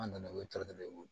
An nana o tɔnɔ ye o